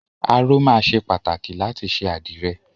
Aró máa ṣe pàtàkì láti ṣe àdìrẹ.